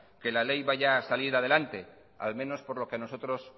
que la ley vaya a salir adelante al menos por lo que a nosotros